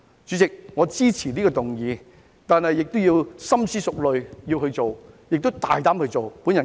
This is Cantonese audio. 主席，我支持這項議案，但亦要深思熟慮、大膽地付諸實行。